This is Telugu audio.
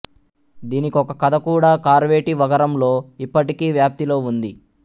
దీనికొక కథ కూడా కార్వేటి వగరంలో ఇప్పటికీ వ్యాప్తిలో ఉంది